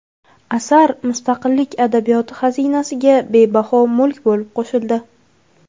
asar mustaqillik adabiyoti xazinasiga bebaho mulk bo‘lib qo‘shildi.